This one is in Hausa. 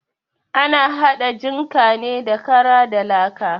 Ana haɗa jinka ne da kara da laka.